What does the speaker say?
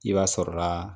I b'a sɔrɔ la